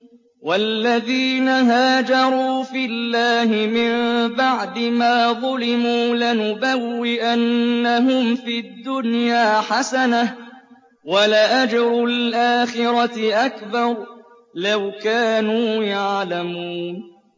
وَالَّذِينَ هَاجَرُوا فِي اللَّهِ مِن بَعْدِ مَا ظُلِمُوا لَنُبَوِّئَنَّهُمْ فِي الدُّنْيَا حَسَنَةً ۖ وَلَأَجْرُ الْآخِرَةِ أَكْبَرُ ۚ لَوْ كَانُوا يَعْلَمُونَ